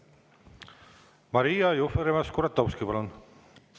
Maria Jufereva-Skuratovski, palun!